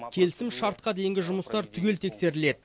келісімшартқа дейінгі жұмыстар түгел тексеріледі